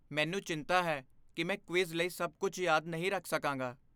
ਮੈਨੂੰ ਚਿੰਤਾ ਹੈ ਕਿ ਮੈਂ ਕਵਿਜ਼ ਲਈ ਸਭ ਕੁਝ ਯਾਦ ਨਹੀਂ ਰੱਖ ਸਕਾਂਗਾ।